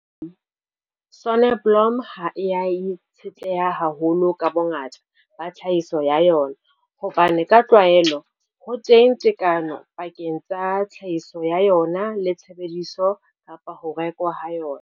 Soneblomo ha e a itshetleha haholo ka bongata ba tlhahiso ya yona hobane ka tlwaelo ho teng tekano pakeng tsa tlhahiso ya yona le tshebediso, ho rekwa ha yona.